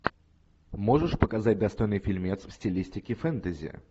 можешь показать достойный фильмец в стилистике фэнтези